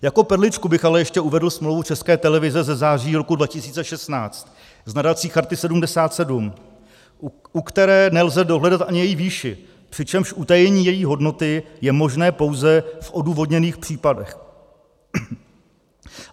Jako perličku bych ale ještě uvedl smlouvu České televize ze září roku 2016 s nadací Charty 77, u které nelze dohledat ani její výši, přičemž utajení její hodnoty je možné pouze v odůvodněných případech.